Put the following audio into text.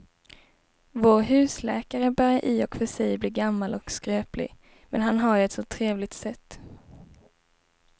Vår husläkare börjar i och för sig bli gammal och skröplig, men han har ju ett sådant trevligt sätt!